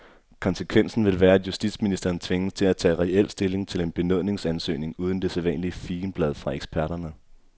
Konsekvensen vil være, at justitsministeren tvinges til at tage reel stilling til en benådningsansøgning uden det sædvanlige figenblad fra eksperterne.